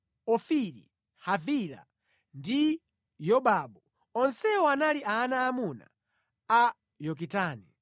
Ofiri, Havila ndi Yobabu. Onsewa anali ana aamuna a Yokitani.